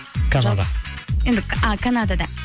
канада енді а канада да